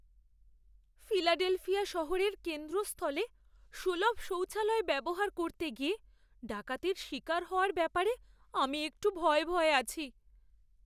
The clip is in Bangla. ফিলাডেলফিয়া শহরের কেন্দ্রস্থলে সুলভ শৌচালয় ব্যবহার করতে গিয়ে ডাকাতির শিকার হওয়ার ব্যাপারে আমি একটু ভয়ে ভয়ে আছি।